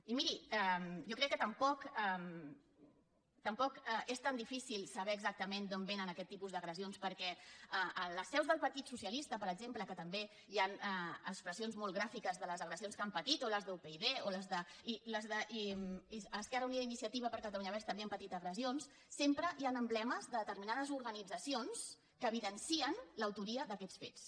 i miri jo crec que tampoc és tan difícil saber exactament d’on vénen aquest tipus d’agressions perquè a les seus del partit socialista per exemple que també hi han expressions molt gràfiques de les agressions que han patit o a les d’upyd o a les d’esquerra unida i iniciativa per catalunya verds també han patit agressions sempre hi han emblemes de determinades organitzacions que evidencien l’autoria d’aquests fets